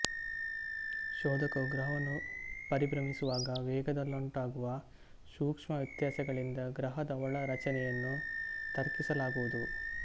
ಶೋಧಕವು ಗ್ರಹವನ್ನು ಪರಿಭ್ರಮಿಸುವಾಗ ವೇಗದಲ್ಲುಂಟಾಗುವ ಸೂಕ್ಷ್ಮ ವ್ಯತ್ಯಾಸಗಳಿಂದ ಗ್ರಹದ ಒಳ ರಚನೆಯನ್ನು ತರ್ಕಿಸಲಾಗುವುದು